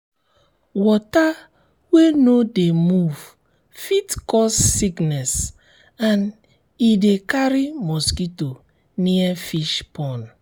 water wey no dey move fit cause sickness and e de carry mosquito near fish pond